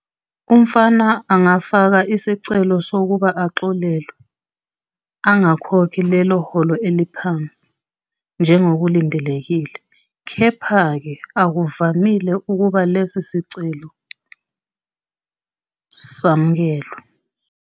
Umfama angafaka isicelo sokuba axolelwe angakhokhi lelo holo eliphansi njengokulindelekile, kepha-ke akuvamile ukuba lesi sicelo samkelwe.